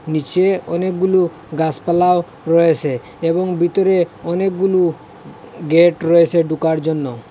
নীচে অনেকগুলু গাছপালাও রয়েচে এবং বিতরে অনেকগুলু গেট রয়েচে ডোকার জন্য।